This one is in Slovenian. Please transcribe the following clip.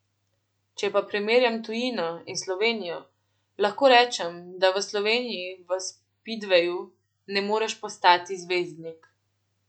Če pa primerjam tujino in Slovenijo, lahko rečem, da v Sloveniji v spidveju ne moreš postati zvezdnik.